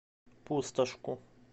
пустошку